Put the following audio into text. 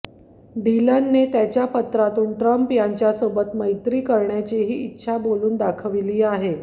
डिलनने त्याच्या पत्रातून ट्रम्प यांच्यासोबत मैत्री करण्याचीही इच्छा बोलून दाखविली आहे